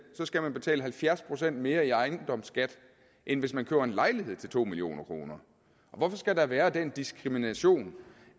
så skal man betale halvfjerds procent mere i ejendomsskat end hvis man køber en lejlighed til to million kroner hvorfor skal der være den diskrimination